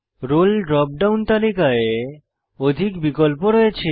role drop down তালিকায় অধিক বিকল্প রয়েছে